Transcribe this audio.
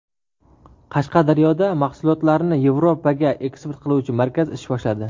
Qashqadaryoda mahsulotlarni Yevropaga eksport qiluvchi markaz ish boshladi.